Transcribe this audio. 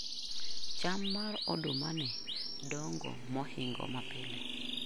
Cham mar odumani dongo mohingo mapile.